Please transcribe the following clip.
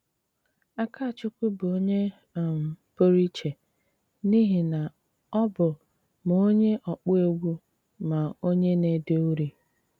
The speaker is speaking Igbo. Ákachụ́kwú bụ́ onye um pú́rụ íché n’íhí ná ọ́ bụ́ má onye ọkpụ́ égwú má onye ná-éde úri.